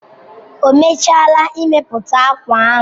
O mechaala imepụta akwa ahụ